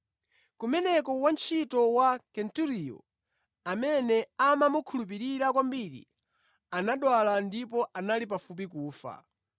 Kumeneko wantchito wa Kenturiyo, amene amamukhulupirira kwambiri, anadwala ndipo anali pafupi kufa.